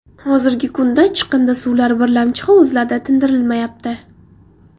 Hozirgi kunda chiqindi suvlar birlamchi hovuzlarda tindirilmayapti.